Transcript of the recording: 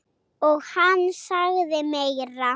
Og hann sagði meira.